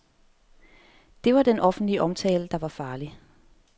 Det var den offentlige omtale, der var farlig.